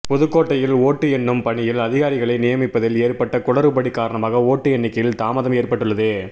புதுக்கோட்டையில் ஓட்டு எண்ணும் பணியில் அதிகாரிகளை நியமிப்பதில் ஏற்பட்ட குளறுபடி காரணமாக ஓட்டு எண்ணிக்கையில் தாமதம் ஏற்பட்டுள்ளது